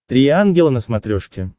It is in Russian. три ангела на смотрешке